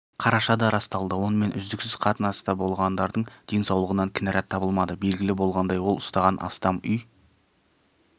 қарашада расталды онымен үздіксіз қатынаста болғандардың денсаулығынан кінәрат табылмады белгілі болғандай ол ұстаған астам үй